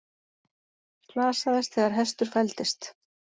Slasaðist þegar hestur fældist